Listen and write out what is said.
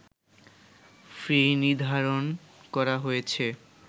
ফি নির্ধারণ করা হয়েছে